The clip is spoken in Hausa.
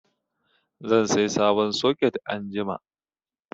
Zan sai sabon soket anjima.